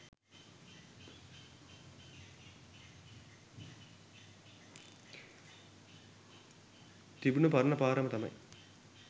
තිබුන පරන පාරම තමයි